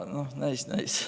Näis, näis.